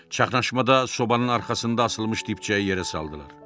Çaxnaşmada sobanın arxasında asılmış dibçəyi yerə saldılar.